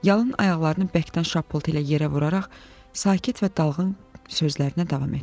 Yalın ayaqlarını bərkdən şapıltı ilə yerə vuraraq sakit və dalğın sözlərinə davam etdi.